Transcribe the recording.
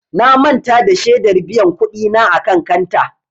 Na manta da shedar biyan kuɗi na a kan kanta.